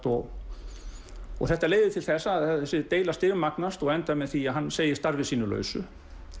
og þetta leiðir til þess að þessi deila stigmagnast og endar með því að hann segir starfi sínu lausu